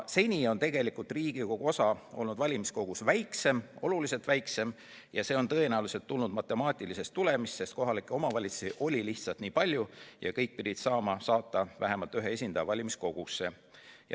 Seni on tegelikult Riigikogu osa olnud valimiskogus väiksem, oluliselt väiksem, ja see on tõenäoliselt tulnud matemaatilisest asjaolust, et kohalikke omavalitsusi lihtsalt oli nii palju ja kõik pidid saama saata vähemalt ühe esindaja valimiskogusse.